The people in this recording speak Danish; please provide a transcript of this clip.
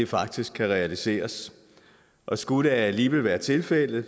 faktisk kan realiseres og skulle det alligevel være tilfældet